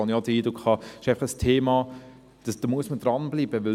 Da habe ich auch den Eindruck, es sei einfach ein Thema, an dem man dranbleiben müsse.